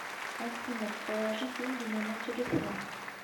афина положи деньги на мой телефон